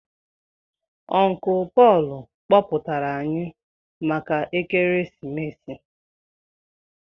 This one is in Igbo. Uncle Paul kpọpụtara anyị maka ekeresimesi